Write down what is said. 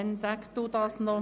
– Das ist der Fall.